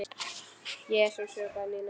Jesús hrópaði Nína.